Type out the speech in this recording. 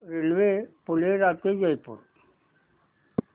railway Phulera ते जयपूर